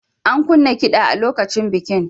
An kunna kiɗa a lokacin bikin.